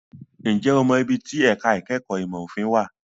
Ǹjẹ́ o mọ ibi tí ẹ̀ka ìkẹ́kọ̀ọ́ ìmọ̀ òfin wà?